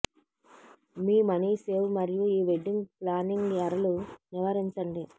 మీ money save మరియు ఈ wedding planning ఎరలు నివారించండి